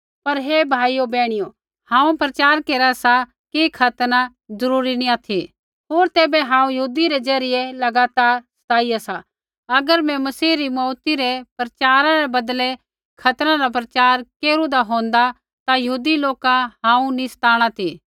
पर हे भाइयो बैहणियो हांऊँ प्रचार केरा सा कि खतना जरूरी नैंई ऑथि होर तैबै हांऊँ यहूदी रै ज़रियै लगातार सताईया सा अगर मैं मसीह री मौऊती रै प्रचारा रै बदलै खतना रा प्रचार केरू होंदा ता यहूदी लोका हांऊँ नैंई सताणा ती